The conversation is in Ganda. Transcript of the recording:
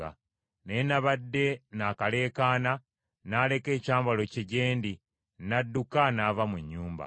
Naye nabadde nakaleekaana, n’aleka ekyambalo kye gye ndi, n’adduka n’ava mu nnyumba.”